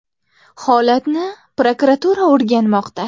Holatni prokuratura o‘rganmoqda.